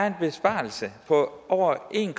en besparelse på over en